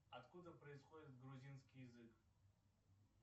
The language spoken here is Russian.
откуда происходит грузинский язык